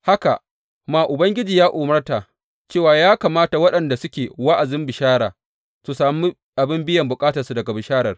Haka ma Ubangiji ya umarta cewa ya kamata waɗanda suke wa’azin bishara, su sami abin biyan bukatarsu daga bisharar.